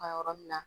Ka yɔrɔ min na